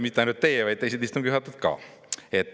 Mitte ainult teie, vaid teised istungi juhatajad ka.